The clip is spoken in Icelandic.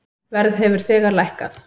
Verð hefur þegar lækkað.